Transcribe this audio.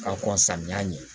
K'a kɔn samiya ɲɛ